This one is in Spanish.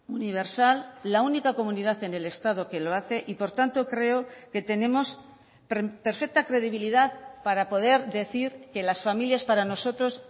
universal la única comunidad en el estado que lo hace y por tanto creo que tenemos perfecta credibilidad para poder decir que las familias para nosotros